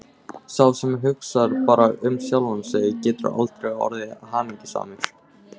Sá sem hugsar bara um sjálfan sig getur aldrei orðið hamingjusamur.